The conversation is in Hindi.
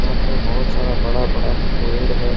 यहां पर बहुत सारा बड़ा बड़ा पेड़ है।